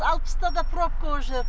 алпыста да пробка о жер